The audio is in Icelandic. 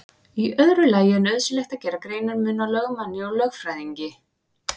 Í öðru lagi er nauðsynlegt að gera greinarmun á lögmanni og lögfræðingi.